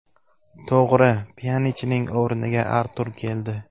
To‘g‘ri, Pyanichning o‘rniga Artur keldi.